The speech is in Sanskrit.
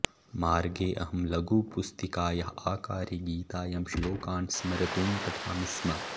मार्गे अहं लघुपुस्तिकायाः आकारे गीतायां श्लोकान् स्मर्तुं पठामि स्म